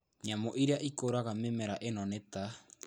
Nyamũ iria ikũraga mĩmera ĩno nĩ ta;